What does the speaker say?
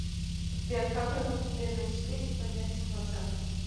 сбер как развить уверенность в себе и поднять самооценку